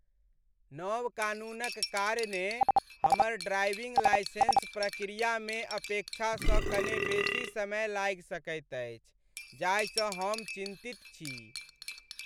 नव कानूनक कारणेँ हमर ड्राइविंग लाइसेंस प्रक्रियामे अपेक्षासँ कने बेसी समय लागि सकैत अछि जाहिसँ हम चिन्तित छी।